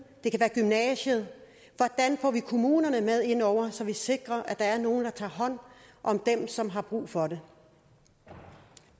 og det kan være gymnasiet hvordan får vi kommunerne med ind over så vi sikrer at der er nogen der tager hånd om dem som har brug for det